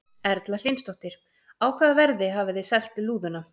Erla Hlynsdóttir: Á hvaða verði hafið þið selt lúðuna?